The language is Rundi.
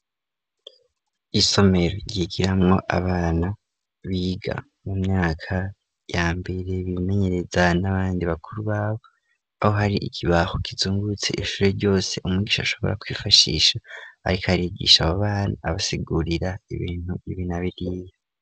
Isomero ryigiramwo abana biga mu myaka yambere bimenyereza n'abandi bakuru babo aho hari ikibaho kizungutse ishure ryose umgisha ashobora kwifashisha ariko arigisha abo bana abasegurira ibintu ibi na biriya.